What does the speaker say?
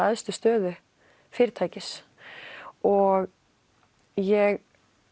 hæstu stöðu fyrirtækis og ég